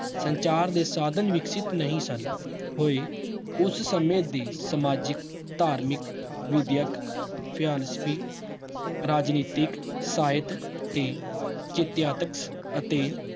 ਸੰਚਾਰ ਦੇ ਸਾਧਨ ਵਿਕਸਤ ਨਹੀਂ ਸਨ ਹੋਏ ਉਸ ਸਮੇਂ ਵੀ ਸਮਾਜਿਕ, ਧਾਰਮਿਕ, ਵਿਦਅਕ ਰਾਜਨੀਤਿਕ ਸਾਹਿਤ ਤੇ ਅਤੇ